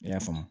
I y'a faamu